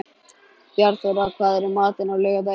Bjarnþóra, hvað er í matinn á laugardaginn?